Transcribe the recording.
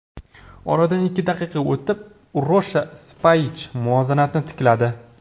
Oradan ikki daqiqa o‘tib Urosha Spayich muvozanatni tikladi.